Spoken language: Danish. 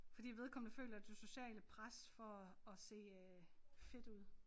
Fordi vedkommende føler det sociale pres for at se øh fit ud